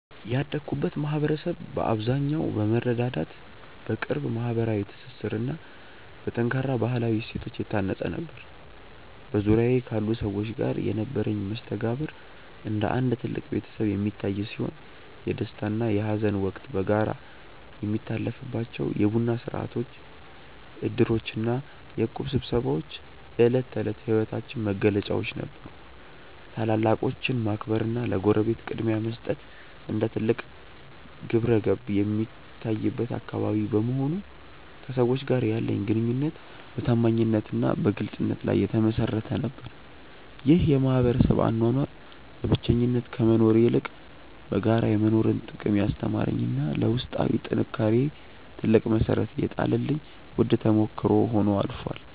ያደግኩበት ማኅበረሰብ በአብዛኛው በመረዳዳት፣ በቅርብ ማኅበራዊ ትስስርና በጠንካራ ባሕላዊ እሴቶች የታነፀ ነበር። በዙሪያዬ ካሉ ሰዎች ጋር የነበረኝ መስተጋብር እንደ አንድ ትልቅ ቤተሰብ የሚታይ ሲሆን፣ የደስታና የሐዘን ወቅት በጋራ የሚታለፍባቸው የቡና ሥርዓቶች፣ ዕድሮችና የእቁብ ስብሰባዎች የዕለት ተዕለት ሕይወታችን መገለጫዎች ነበሩ። ታላላቆችን ማክበርና ለጎረቤት ቅድሚያ መስጠት እንደ ትልቅ ግብረገብ የሚታይበት አካባቢ በመሆኑ፣ ከሰዎች ጋር ያለኝ ግንኙነት በታማኝነትና በግልጽነት ላይ የተመሠረተ ነበር። ይህ የማኅበረሰብ አኗኗር በብቸኝነት ከመኖር ይልቅ በጋራ የመኖርን ጥቅም ያስተማረኝና ለውስጣዊ ጥንካሬዬ ትልቅ መሠረት የጣለልኝ ውድ ተሞክሮ ሆኖ አልፏል።